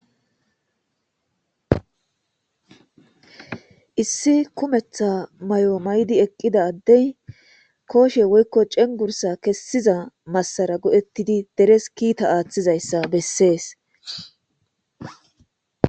Issi kumetha may7o maydi eqqida addey kooshe woykko cengursa kessiza massara godhettidi deres kiita aaththizayssa bessees.